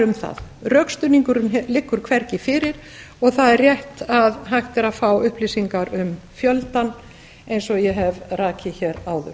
um það rökstuðningurinn liggur hvergi fyrir og það er rétt að hægt er að fá upplýsingar um fjöldann eins og ég hef rakið hér áður